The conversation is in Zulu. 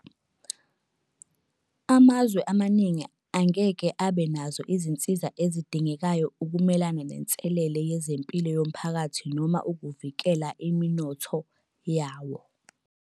Amazwe amaningi angeke abe nazo izinsiza ezidingekayo ukumelana nenselele yezempilo yomphakathi noma ukuvikela imi-notho yawo.